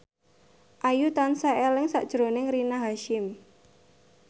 Ayu tansah eling sakjroning Rina Hasyim